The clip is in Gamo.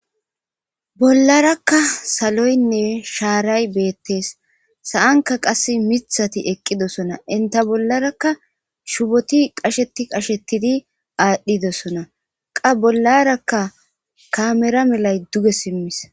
ollarakka saloynne shaaray beettees sa7anka qas mithati eqqidosona inta bollarakka shuboti qasheti qashetidi aadhdhidosona qa bollarakka kamera melay duge simmis